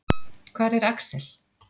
Hvar er Axel?